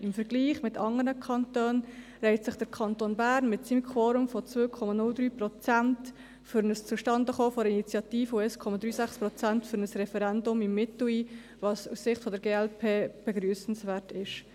Im Vergleich zu anderen Kantonen reiht sich der Kanton Bern mit seinem Quorum von 2,03 Prozent für das Zustandekommen einer Initiative und von 1,36 Prozent für ein Referendum im Mittel ein, was aus Sicht der glp begrüssenswert ist.